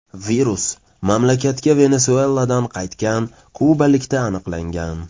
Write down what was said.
Virus mamlakatga Venesueladan qaytgan kubalikda aniqlangan.